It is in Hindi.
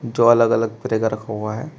जो अलग अलग तरह का रखा हुआ है।